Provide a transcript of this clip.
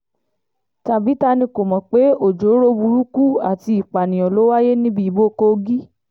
tàbí ta ni kò mọ̀ pé ọjọ́ọ́rọ́ burúkú àti ìpààyàn ló wáyé níbi ìbò kogi